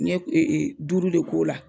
N ye e e duuru de k'o la